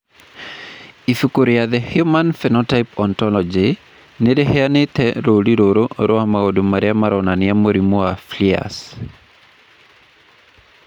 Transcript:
Ibuku rĩa The Human Phenotype Ontology nĩ rĩheanĩte rũũri rũrũ rwa maũndũ marĩa maronania mũrimũ wa Frias.